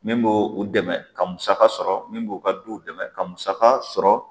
Min b' o o dɛmɛ ka musa sɔrɔ min b'o o ka du dɛmɛ ka musaka sɔrɔ